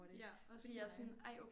Ja også mig